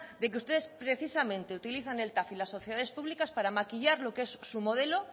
de que ustedes precisamente utilizan el tav y las sociedades públicas para maquillar lo que es su modelo